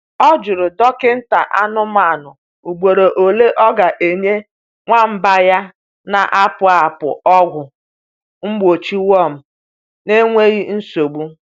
Ọ jụrụ dọkịta anụmanụ ugboro ole ọ ga-enye nwamba ya na-apụ apụ ọgwụ mgbochi worm n’enweghị nsogbu.